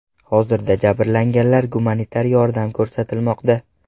Hozirda jabrlanganlar gumanitar yordam ko‘rsatilmoqda.